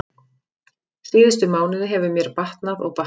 Síðustu mánuði hefur mér batnað og batnað.